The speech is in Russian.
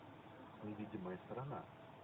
невидимая сторона